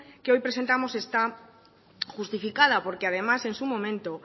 que hoy presentamos está justificada porque además en su momento